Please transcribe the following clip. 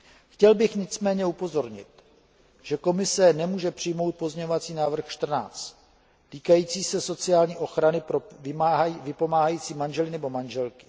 Chtěl bych nicméně upozornit, že Komise nemůže přijmout pozměňovací návrh 14 týkající se sociální ochrany pro vypomáhající manžele nebo manželky.